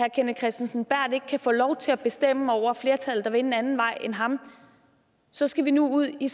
kristensen berth ikke kan få lov til at bestemme over flertallet der vil en anden vej end ham så skal vi nu ud i